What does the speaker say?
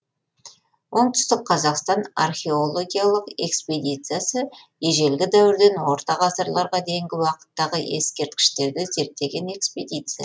оңтүстік қазақстан археологиялық экспедициясы ежелгі дәуірден орта ғасырларға дейінгі уақыттағы ескерткіштерді зерттеген экспедиция